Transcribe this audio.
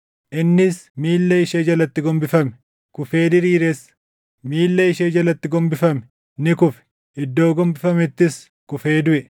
Innis miilla ishee jalatti gombifame; kufee diriires. Miilla ishee jalatti gombifame; ni kufe; iddoo gombifamettis kufee duʼe.